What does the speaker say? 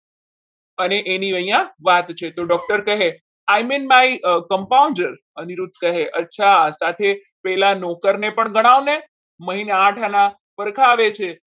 અને એની અહીંયા વાત છે તો doctor કહે I mean my compounder સાથે અચ્છા પેલા નોકરને પણ ગણાવને મહિને આઠ આના